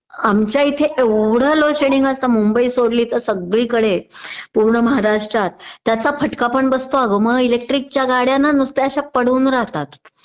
आमच्या इथे एवढं लोड शेडींग असत मुंबई सोडली तर सगळीकडे पूर्ण महारातष्ट्रात त्याचा फटका पण बसतो अगं इलेक्ट्रिक च्या गाड्या ना नुसत्या अश्या पडून राहतात